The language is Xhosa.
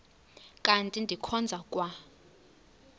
kanti ndikhonza kwa